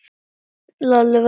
Lalli varð hryggur á svip.